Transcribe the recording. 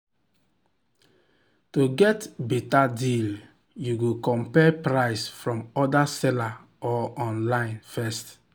to get better deal you go compare price from other seller or online first.